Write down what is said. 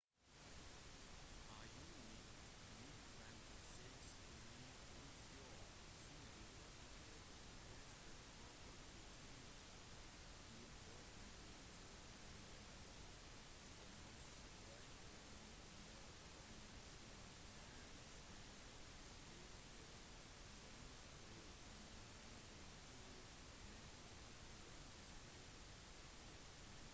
i juni 1956 ble krutsjov sine løfter testet da opptøyer i polen ble til en generell demonstrasjon mot kommunismen mens arbeidstakere demonstrerte mot mangel på mat og lønnskutt